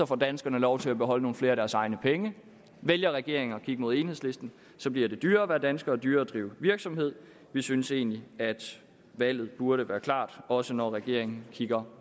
får danskerne lov til at beholde nogle flere af deres egne penge vælger regeringen at kigge mod enhedslisten bliver det dyrere at være dansker og dyrere at drive virksomhed vi synes egentlig at valget burde være klart også når regeringen kigger